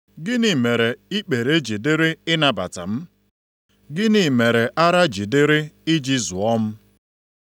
Gịnị mere ikpere ji dịrị ịnabata m? Gịnị mere ara ji dịrị i ji zụọ m?